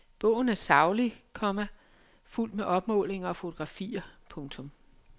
Bogen er saglig, komma fuldt med opmålinger og fotografier. punktum